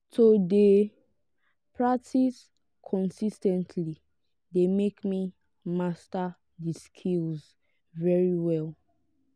to de practice consis ten tly de make me master di skills very well